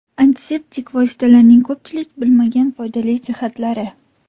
Antiseptik vositalarning ko‘pchilik bilmagan foydali jihatlari.